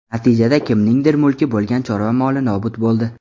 Natijada kimningdir mulki bo‘lgan chorva moli nobud bo‘ldi.